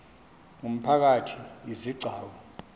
ngumphakathi izi gcawu